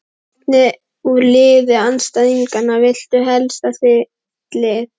Hvern úr liði andstæðinganna viltu helst í þitt lið?